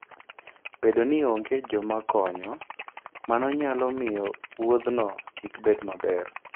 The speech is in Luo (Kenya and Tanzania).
Bedo ni onge joma konyo, mano nyalo miyo wuodhno kik bed maber.